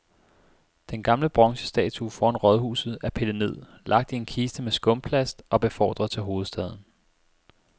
Den gamle bronzestatue foran rådhuset er pillet ned, lagt i en kiste med skumplast og befordret til hovedstaden.